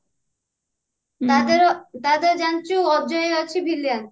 ତାଥେରେ ତାଥରେ ଜାଣିଛୁ ଅଜୟ ଅଛି villain